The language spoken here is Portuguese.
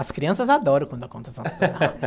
As crianças adoram quando eu conto essas coisa.